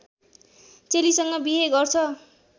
चेलीसँग बिहे गर्छ